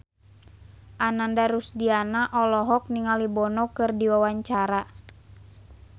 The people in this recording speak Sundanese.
Ananda Rusdiana olohok ningali Bono keur diwawancara